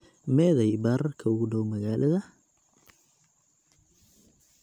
Meeday baararka ugu dhow magaalada?